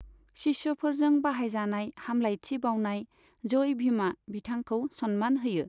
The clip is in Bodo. शिष्यफोरजों बाहायजानाय हामलायथि बाउनाय जय भीमआ बिथांखौ सन्मान होयो।